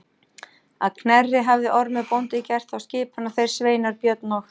Að Knerri hafði Ormur bóndi gert þá skipan að þeir sveinar Björn og